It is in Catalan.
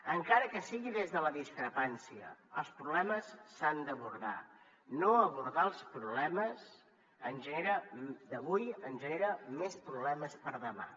encara que sigui des de la discrepància els problemes s’han d’abordar no abordar els problemes d’avui ens genera més problemes per demà